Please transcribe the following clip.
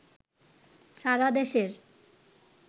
সারা দেশের